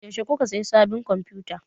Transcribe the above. Yaushe kuka siya sabin konfuta?